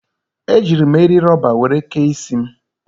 Ejiiri m eri rọba were kee isi m.